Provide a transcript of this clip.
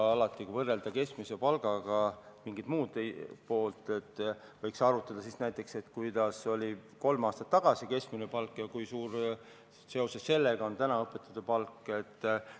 Alati, kui võrrelda kellegi palka keskmise palgaga, võiks arutada, milline oli keskmine palk kolm aastat tagasi ja kui suur seoses sellega on õpetajate palk täna.